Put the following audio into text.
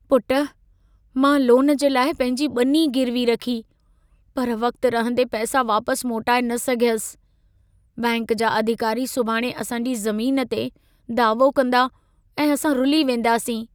पुट, मां लोन जे लाइ पंहिंजी ॿनी गिरवी रखी, पर वक़्ति रहंदे पैसा वापसि मोटाए न सघियसि। बैंक जा अधिकारी सुभाणे असां जी ज़मीन ते दावो कंदा ऐं असां रुली वेंदासीं।